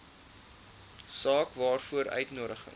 saak waaroor uitnodigings